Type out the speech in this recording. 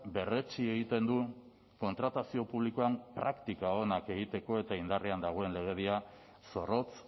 berretsi egiten du kontratazio publikoan praktika onak egiteko eta indarrean dagoen legedia zorrotz